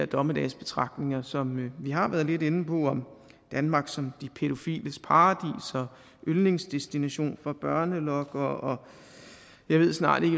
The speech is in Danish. dommedagsbetragtninger som vi har været lidt inde på om danmark som de pædofiles paradis og yndlingsdestination for børnelokkere og jeg ved snart